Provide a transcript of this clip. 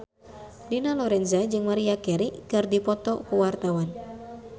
Dina Lorenza jeung Maria Carey keur dipoto ku wartawan